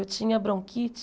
Eu tinha bronquite.